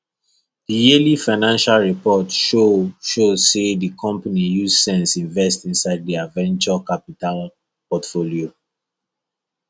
the yearly financial report show show say the company use sense invest inside their venture capital portfolio